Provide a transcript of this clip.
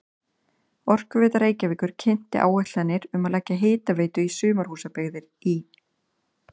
Orkuveita Reykjavíkur kynnti áætlanir um að leggja hitaveitu í sumarhúsabyggðir í